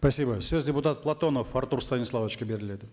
спасибо сөз депутат платонов артур станиславовичке беріледі